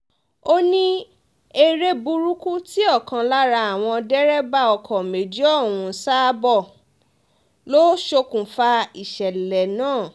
ó ní eré burúkú tí ọ̀kan lára àwọn dẹ́rẹ́bà ọkọ méjì ọ̀hún ń sá bọ̀ lọ ṣokùnfà ìṣẹ̀lẹ̀ náà